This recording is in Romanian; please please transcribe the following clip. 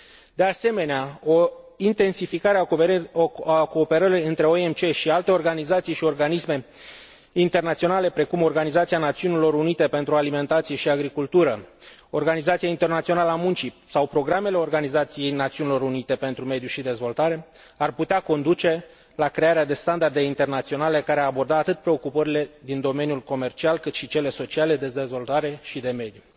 De asemenea, o intensificare a cooperării între OMC și alte organizații și organisme internaționale, precum Organizația Națiunilor Unite pentru Alimentație și Agricultură, Organizația Internațională a Muncii sau programele Organizației Națiunilor Unite pentru mediu și dezvoltare ar putea conduce la crearea de standarde internaționale care ar aborda atât preocupările din domeniul comercial, cât și pe cele sociale, de dezvoltare și de mediu.